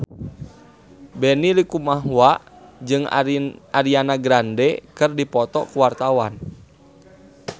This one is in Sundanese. Benny Likumahua jeung Ariana Grande keur dipoto ku wartawan